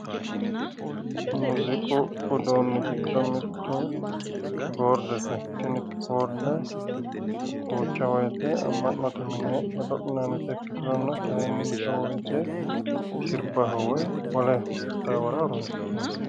Muziiqu uduunni giddo mittu kiboordete tini kiboorde duucha woyiite amma'note mine godo'linayiita ikkiturono kayiinni mito woyiite sirbaho woy wole qixxaawora horonsi'nanni